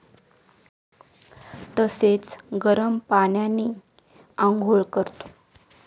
तसेच गरम पाण्याने अंघोळ करतो.